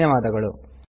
ಧನ್ಯವಾದಗಳು